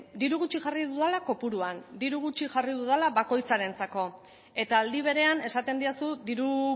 diru gutxi jarri dudala kopuruan diru gutxi jarri dudala bakoitzarentzako eta aldi berean esaten didazu diru